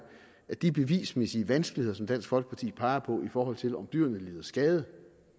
at de bevismæssige vanskeligheder som dansk folkeparti peger på i forhold til om dyrene lider skade